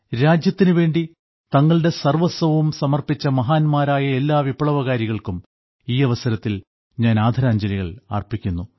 രാജ്യത്തിനുവേണ്ടി തങ്ങളുടെ സർവ്വസ്വവും സമർപ്പിച്ച മഹാന്മാരായ എല്ലാ വിപ്ലവകാരികൾക്കും ഈ അവസരത്തിൽ ഞാൻ ആദരാഞ്ജലികൾ അർപ്പിക്കുന്നു